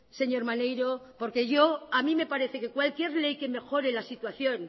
señor maneiro porque a mí me parece que cualquier ley que mejore la situación